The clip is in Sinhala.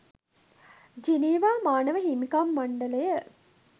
ජිනීවා මානව හිමිකම් මණ්ඩලය